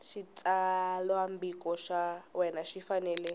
xitsalwambiko xa wena xi fanele